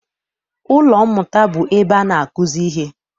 Ụlọ mmụta bụ ebe ana akuzi ihe.